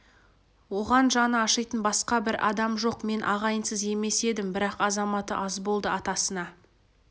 оған жаны ашитын басқа бір адам жоқ мен ағайынсыз емес едім бірақ азаматы аз болды атасына